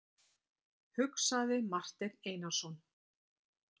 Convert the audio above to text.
hugsaði Marteinn Einarsson.